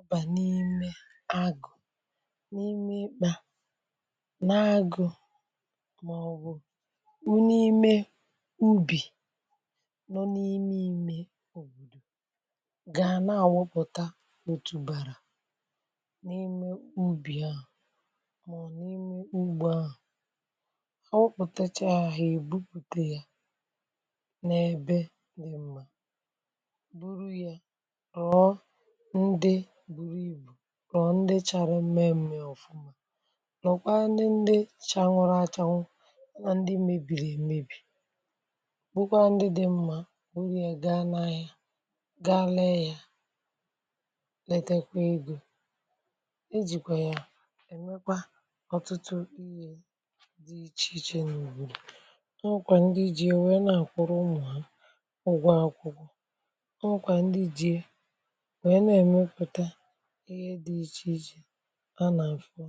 Ibà n’ime agụ̀, n’ime ikpȧ, n’agụ̀ màọ̀bụ̀ (u̇m) n’ime ubì nọ n’ime imė òbòdò gà na-àwupụ̀ta otùbàrà n’ime ubì ahụ̀ màọ̀bụ̀ n’ime ugbo ahụ̀, àwụkpụ̀tacha ya, ha èbupùte ya n’èbe dị mma. Bụrụ ya, rọ̀o ndị ndi chara mmẹmẹ ọfụma, rookwanu ndi chanwụrụ achanụ na ndị mebiri emebi, bụkwa ndị dị mmȧ bụrụ ya gaa n’ahịa gaa lẹẹ̇ ya, letekwa egȯ, ejìkwà ya ènwekwa ọtụtụ ihė dị ichè ichè n’ùbù. Onwekwaa ndị ji ya wee nà àkwụrụ ụmụ̀ ha ụgwọ àkwụkwọ, onwekwa ndị ji ya wee na-emepụta ihe ana afụ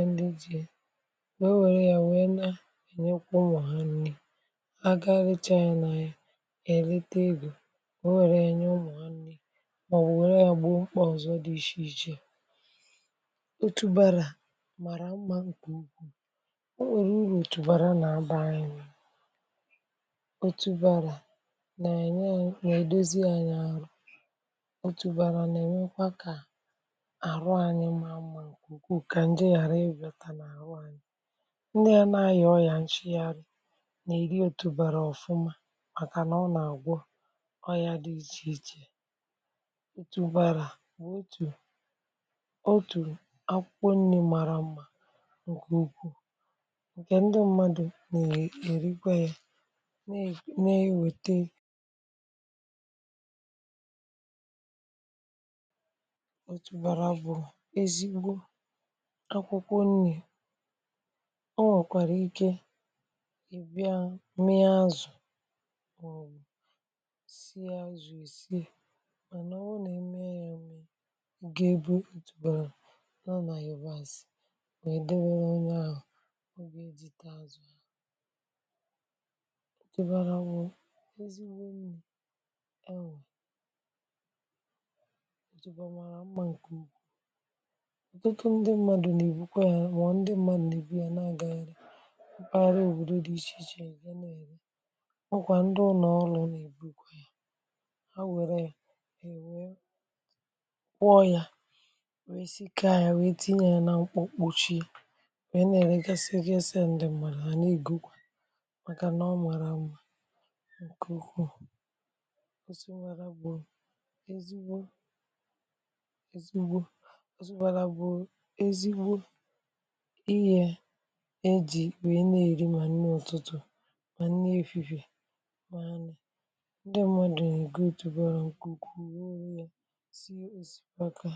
anya n'ubu wère ya wee na ènyekwa ụmụ̀ha nni̇ aga leechaa ị nà ya èlite egȯ wee wère ya nye ụmụ̀ha nni màọbụ̀ wère ya bụ́ọ mkpọ̀zọ̀ dị ịchọ ichè ichè, otu bara màrà mmȧ ǹkè ukwu̇, o nwèrè urù òtùbàrà nà-aba ye aya, otubara nà eye anyị nwèe na-edozi anyị arụ̀ otùbàrà nà-ẹ̀mẹkwa kà àrụ anyị mà amà ǹkè ukwuu kà ǹje ghàra ị bịàtà nà àrụ anyị, ndị mmadụ nà aya ọyà nshịgharị nà ị yi otùbàrà ọ̀fụma màkà nà ọ nà-àgwọ ọyà dị ichè ichè. otùbàrà bụ̀ otù otù akwụkwọ nni̇ màrà mmȧ ǹkè úkwù, ǹkè ndị mmadù nà è èrikwa yȧ nà ènwète ego. òtùbàrà bụ̀ ezigbo akwụkwọ nni̇. O nwèkwàrà ike ị̀ bịa mee azụ̀ èè si àzụ èsì mànà ọ wụ nà-eme ya mė ǹke ebe otùbàrà nọ nà yabàsị̀ nà èdebe onye ahụ̀ ebe otubàrà bụ̀ ezigbo nni̇ mara mmȧ ǹkè ukwu. ọ̀tụtụ ndị mmadù nà-èbukwa ya mà ndị mmadụ nà-èbu ya na-agȧnyere mkpagharị òbòdo dị̇ ichè ichè, e na-èri maọ̀bụ̀ kwa ndị ụnọọlụ̇ nà-èbukwa ya, ha wère e wee kwọ ya, wee sikaa ya, wee tinye ya nȧ mkpo kpuchi e na-ere ga sie gi esi ya ǹdị mmadụ nà-ègokwa ya màkà nà ọ maara mma ǹkè ukwuù, ezigbo ọtubara bụ̀ ezigbo ihė ejì wèe na-èri ma nni ọtụtụ ma nni èfifè ma nnị̀, ndị mmadụ dụ̀ na-ègo òtùbara ǹkù ukwuu werịọ̇ ya sie òsìbaka